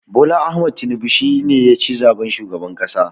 Bola Ahmed Tinibu shi ne ya ci zaɓen shugaban ƙasa.